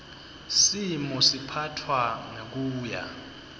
simo siphatfwa ngekuya